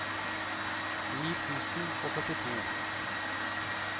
ni tusen og førtito